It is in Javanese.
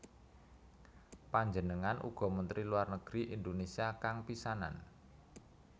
Panjenengan uga Menteri Luar Negeri Indonésia kang pisanan